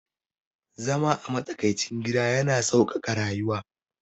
Zama a matsakaicin gida yana sauƙaƙa rayuwa